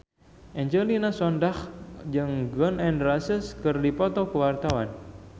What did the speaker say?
Angelina Sondakh jeung Gun N Roses keur dipoto ku wartawan